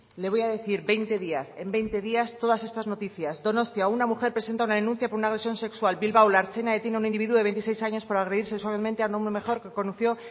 le voy a decir veinte días en veinte días todas estas noticias donostia una mujer presenta una denuncia por una agresión sexual bilbao la ertzaina detiene a un individuo de veintiséis años por agredir sexualmente a una mujer que conoció